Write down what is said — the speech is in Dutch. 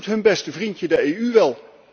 Dat doet hun beste vriendje, de EU, wel.